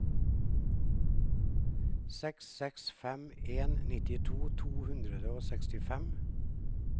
seks seks fem en nittito to hundre og sekstifem